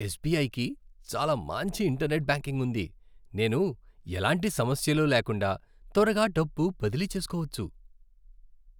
ఎస్బిఐకి చాలా మంచి internet banking ఉంది. నేను ఎలాంటి సమస్యలు లేకుండా త్వరగా డబ్బు బదిలీ చేసుకోవచ్చు.